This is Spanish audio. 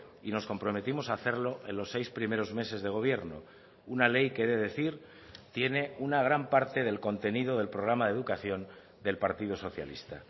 y nos comprometimos a hacerlo en los seis primeros meses de gobierno una ley que he de decir tiene una gran parte del contenido del programa de educación del partido socialista